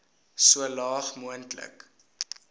so laag moontlik